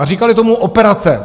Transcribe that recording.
A říkali tomu operace.